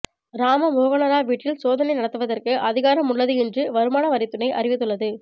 ராம மோகனராவ் வீட்டில் சோதனை நடத்துவதற்கு அதிகாரம் உள்ளது என்று வருமான வரித்துறை அறிவித்துள்ளது